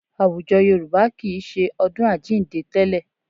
Àwùjọ Yorùbá kì í ṣe ọdún Àjíǹde tẹ́lẹ̀.